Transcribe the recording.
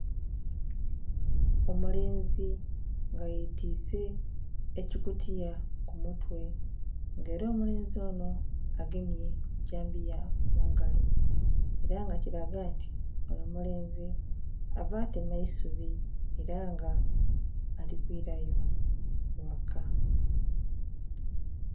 Omulenzi nga ye twiise ekikutiya ku mutwe nga era omulenzi eno agemye dhambiya mungalo era nga kilaga nti onho omulenzi ova tema eisubi era nga elikwirayo eghaka.